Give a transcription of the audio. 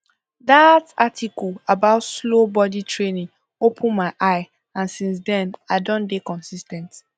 that article about slow body training open my eye and since then i don dey consis ten t